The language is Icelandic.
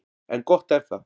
En gott er það.